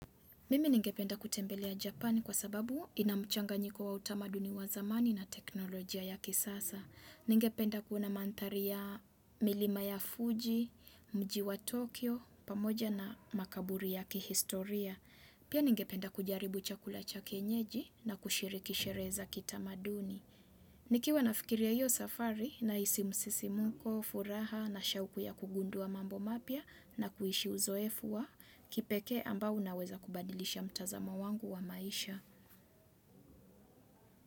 Mimi ningependa kutembelea Japani kwa sababu ina mchanganyiko wa utamaduni wa zamani na teknolojia ya kisasa. Ningependa kuona manthari ya milima ya Fuji, mji wa Tokyo, pamoja na makaburi ya kihistoria. Pia ningependa kujaribu chakula cha kienyeji na kushiriki shereza kitamaduni. Nikiwa nafikiria hiyo safari nahisi msisimuko, furaha na shauku ya kugundua mambo mapya na kuishi uzoefu wa kipekee ambao unaweza kubadilisha mtazamo wangu wa maisha.